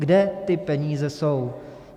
Kde ty peníze jsou?